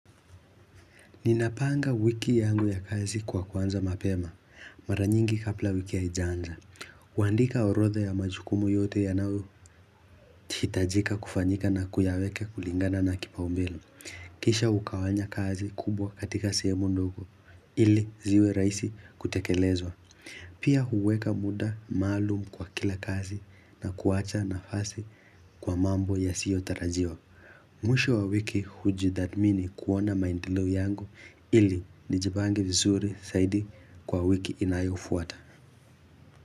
Ninapanga wiki yangu ya kazi kwa kuanza mapema. Mara nyingi kabla wiki haijaanza kuandika orodha ya majukumu yote yanayohitajika kufanyika na kuyaweka kulingana na kipaumbele Kisha hugawanya kazi kubwa katika sehemu ndogo ili ziwe rahisi kutekelezwa. Pia huweka muda maalum kwa kila kazi na kuacha nafasi kwa mambo yasiyotarajiwa. Mwisho wa wiki hujitathmini kuona maendeleo yangu ili nijipange vizuri zaidi kwa wiki inayofuata.